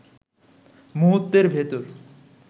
মুহূর্তের ভেতর